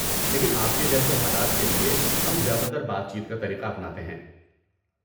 لیکن آپ کے جیسے حالات کے لیے، ہم زیادہ تر بات چیت کا طریقہ اپناتے ہیں۔